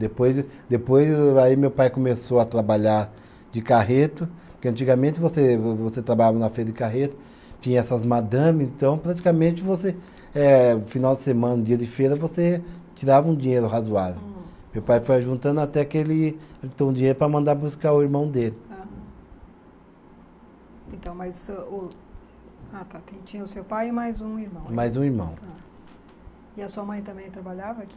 Depois, depois aí meu pai começou a trabalhar de carreto porque antigamente você você trabalhava na feira de carreto, tinha essas madame então praticamente você eh, final de semana, dia de feira você tirava um dinheiro razoável. Hum. Meu pai foi juntando até que ele ajuntou um dinheiro para mandar buscar o irmão dele. Aham. Então, mas o o, ah tá, tinha o seu pai e mais um irmão. Mais um irmão. Tá. E a sua mãe também trabalhava aqui?